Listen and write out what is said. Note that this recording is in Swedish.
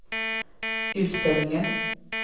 utställningen